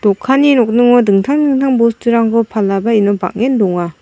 dokanni nokningo dingtang dingtang bosturangko palaba iano bang·en donga.